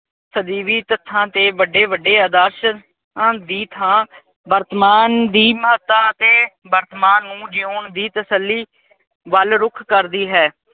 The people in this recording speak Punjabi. ਸਦੀਵੀ ਤੱਥਾਂ ਤੇ ਵੱਡੇ-ਵੱਡੇ ਆਦਰਸ਼ ਆਹ ਦੀ ਥਾਂ ਵਰਤਮਾਨ ਦੀ ਮਹੱਤਤਾ ਅਤੇ ਵਰਤਮਾਨ ਨੂੰ ਜਿਊਣ ਦੀ ਤਸੱਲੀ ਵੱਲ ਰੁੱਖ ਕਰਦੀ ਹੈ।